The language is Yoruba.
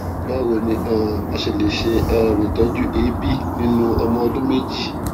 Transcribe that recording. báwo ni um a ṣe lè ṣe um itọju eebi ninu ọmọ ọdún méjì